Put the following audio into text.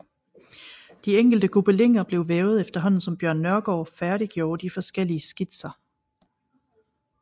De enkelte gobeliner blev vævet efterhånden som Bjørn Nørgaard færdiggjorde de forskellige skitser